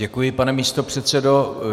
Děkuji, pane místopředsedo.